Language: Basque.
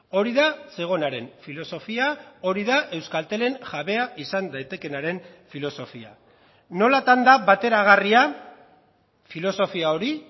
hori da zegonaren filosofia hori da euskaltelen jabea izan daitekeenaren filosofia nolatan da bateragarria filosofia hori